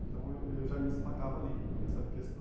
Então eu eu já me destacava ali nessa questão.